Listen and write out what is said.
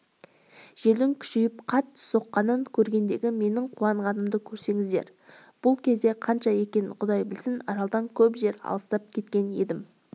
желдің күшейіп қатты соққанын көргендегі менің қуанғанымды көрсеңіздер бұл кезде қанша екенін құдай білсін аралдан көп жер алыстап кеткен едім